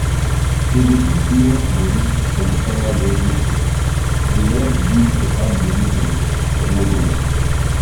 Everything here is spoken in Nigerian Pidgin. to dey keep small money from salary every time dey help build better money sense for long run